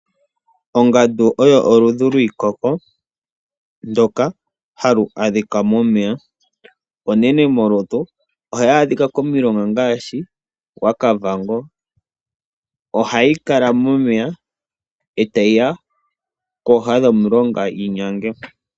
Ongandu oyo oludhi lwiikoko, ndyoka hayi adhika momeya. Ongandu onene molutu, nohayi adhika komilonga ngaashi gwaKavango. Ohayi kala momeya, etayi ya kooha dhomulonga yinyange.